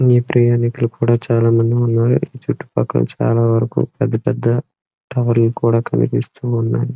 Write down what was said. ప్రయాణికులు కూడా చాలా మంది ఉన్నారు ఇక్కడ చుట్టూ పక్కల చాలా వరకు పెద్ద పెద్ద కూడా కనిపిస్తూ ఉంది.